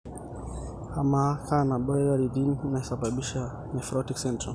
amaa kenabo imoyiaritin naisababisha nephrotic syndrome.